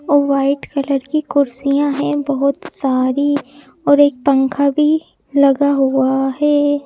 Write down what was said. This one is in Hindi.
और व्हाइट कलर की कुर्सियां हैं बहुत सारी और एक पंखा भी लगा हुआ है।